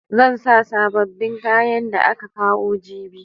Zan sa sababbin kayan da aka kawo jibi.